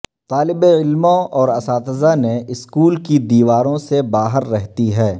طالب علموں اور اساتذہ نے اسکول کی دیواروں سے باہر رہتی ہے